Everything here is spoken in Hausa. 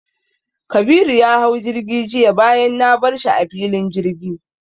Kabiru ya hau jirgi jiya bayan na bar shi a filin jirgi.